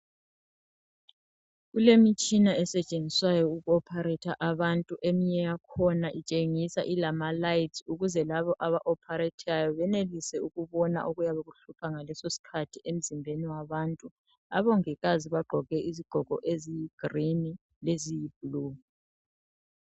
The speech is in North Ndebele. Kulemitshina esetshenziswayo ukuopharetha abantu. Eminye yakhona itshengiswa ilamalayithi. Ukwenzela ukuthi labo abaopharethayo, benelise ukubona okuyikho okuyabe kuhlupha ngalesosikhathi, emzimbeni yabantu. Abongikazi bagqoke izigqoko eziyigreen, leziyiblue.